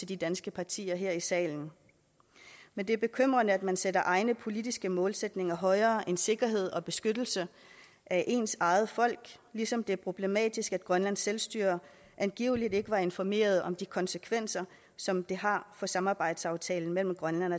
de danske partier her i salen men det er bekymrende at man sætter egne politiske målsætninger højere end sikkerhed og beskyttelse af ens eget folk ligesom det er problematisk at grønlands selvstyre angiveligt ikke var informeret om de konsekvenser som det har for samarbejdsaftalen mellem grønland